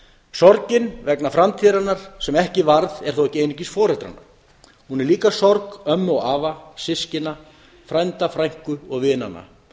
sorgin vegna framtíðarinnar sem ekki varð er þó ekki einungis foreldranna hún er líka sorg ömmu og afa systkina frænda frænku og vinanna